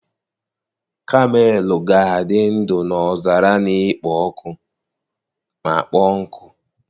Kamel ga-adị ndụ n'ọzara na-ekpo ọkụ ma kpọọ nkụ.